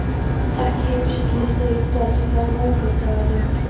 Ekki heimsæki ég þau í dag, því það er morgundagurinn.